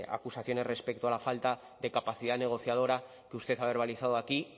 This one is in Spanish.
acusaciones respecto a la falta de capacidad negociadora que usted ha verbalizado aquí